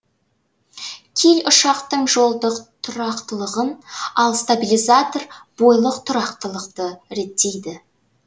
киль ұшақтың жолдық тұрақтылығын ал стабилизатор бойлық тұрақтылықты реттейді